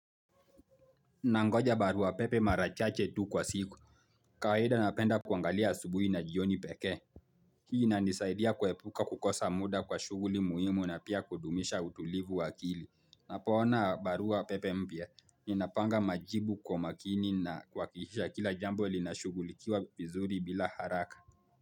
Nangoja barua pepe mara chache tu kwa siku. Kawaida napenda kuangalia asubuhi na jioni pekee. Hii inanisaidia kuepuka kukosa muda kwa shuguli muhimu na pia kudumisha utulivu wa akili. Napoona barua pepe mpya. Ninapanga majibu kwa makini na kuhakikisha kila jambo ilinashugulikiwa vizuri bila haraka.